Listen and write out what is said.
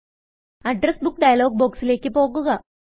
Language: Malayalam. അഡ്രസ് ബുക്ക് ഡയലോഗ് ബൊക്സിലെക്ക് പോകുക